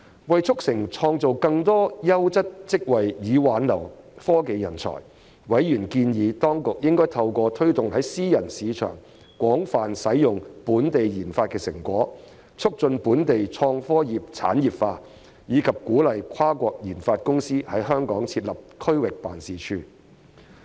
為促成創造更多優質職位以挽留科技人才，委員建議當局應透過推動在私人市場廣泛使用本地研發成果，促進本地創科業產業化，以及鼓勵跨國研發公司在港設立區域辦事處。